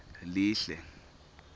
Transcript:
lihle